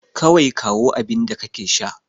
Kawai kawo abinda kake da shi.